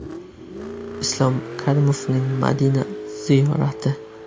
Islom Karimovning Madina ziyorati .